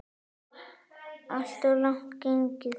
Alltof langt gengið.